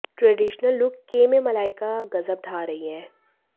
traditional look के में मलाइका गजब ढ़ा रही हैं